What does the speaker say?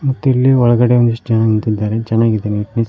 ಮತ್ತು ಇಲ್ಲಿ ಒಳಗಡೆ ಒಂದಿಷ್ಟು ಜನ ನಿಂತಿದ್ದಾರೆ ಚೆನಾಗಿದೆ ನೀಟ್ನೆಸ್ --